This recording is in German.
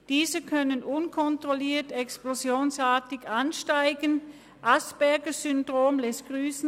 Diese können unkontrolliert explosionsartig ansteigen – das Asperger-Syndrom lässt grüssen.